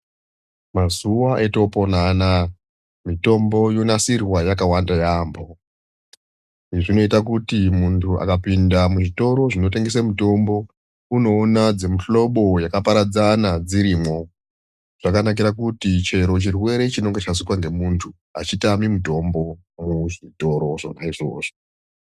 Mazuwa eitopona anaa mitombo yonasirwa yakawanda yaamho, izvi zvinoita kuti muntu akapinda muzvitoro zvinotengese mitombo unoona dzemihlobo yakaparadzana dzirimwo. Zvakanakira kuti chero chirwere chinenge chazwika ngemuntu hachitami mutombo muzvitoro zvona izvozvo.